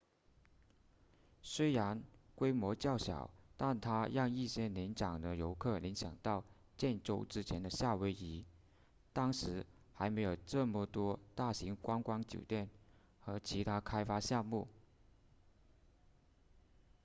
虽然规模较小但它让一些年长的游客联想到建州之前的夏威夷当时还没有这么多大型观光酒店和其他开发项目